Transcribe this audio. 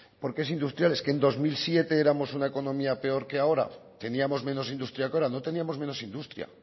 que en dos mil siete éramos una economía peor que ahora teníamos menos industria que ahora no teníamos menos industria